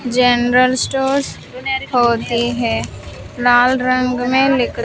general stores होती है लाल रंग में--